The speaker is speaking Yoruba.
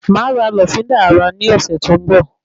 Máa ra lọ́fíndà ara ní ọsẹ tó n bọ